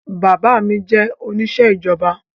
Bàbá mi jẹ́ oníṣẹ́ ìjọba